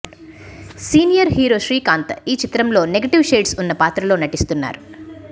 senior hero Srikanth ఈ చిత్రంలో negative shades ఉన్న పాత్రలో నటిస్తున్నారు